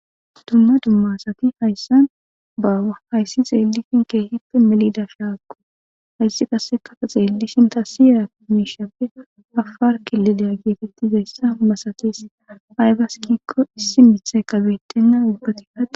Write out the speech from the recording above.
Dumma dumma asati hayssan baawa. Hayssi xeelishin keehippe melida shaakko hayssi qassekafa xeellishin ta siramiishappe afaar kililiyaa geetettiza masates aybassi gikko issi mitta kabettenna ubbati ahahees..